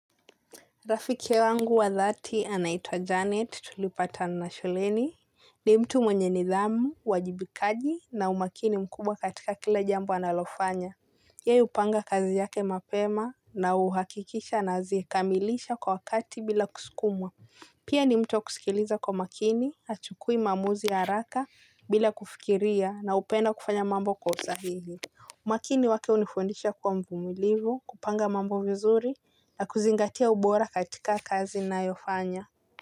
Rafiki wangu wa dhati anaitwa Janet tulipatana shuleni. Ni mtu mwenye nidhamu, uwajibikaji na umakini mkubwa katika kila jambo analofanya. Yeye hupanga kazi yake mapema na huhakikisha anazikamilisha kwa wakati bila kusikumwa. Pia ni mtu wakusikiliza kwa makini, hachukui maamuzi ya haraka bila kufikiria na hupenda kufanya mambo kwa usahihi. Umakini wake hunifundisha kuwa mvumilivu kupanga mambo vizuri na kuzingatia ubora katika kazi nayofanya.